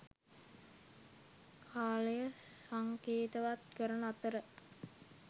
කාලය සංකේතවත් කරන අතර